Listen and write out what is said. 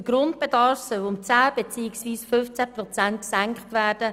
Der Grundbedarf soll um 10 beziehungsweise 15 Prozent gesenkt werden.